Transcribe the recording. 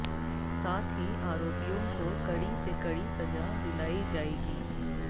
साथ ही आरोपियों को कड़ी से कड़ी सजा दिलाई जाएगी